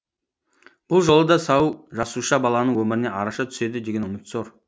бұл жолы да сау жасуша баланың өміріне араша түседі деген үміт зор